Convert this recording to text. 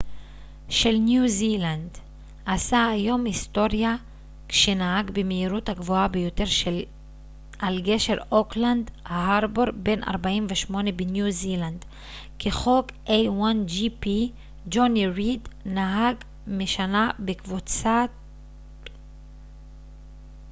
ג'וני ריד נהג משנה בקבוצת a1gp של ניו זילנד עשה היום היסטוריה כשנהג במהירות הגבוהה ביותר על גשר אוקלנד הארבור בן ה-48 בניו זילנד כחוק